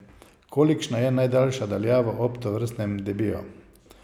Kolikšna je najdaljša daljava ob tovrstnem debiju.